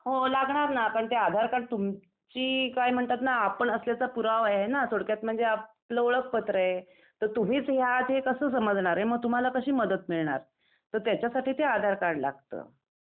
हो लागणार ना. पण ते आधार कार्ड तुमची काय म्हणतात ना आपण असण्याचा पुरावा आहे ना .. थोडक्यात म्हणजे आपलं ओळखपत्र आहे. तर तुम्हीच हे आहात हे कसे समजणार आहे मग तुम्हाला कशी मदत मिळणार. तर त्याच्यासाठी ते आधार कार्ड लागतं.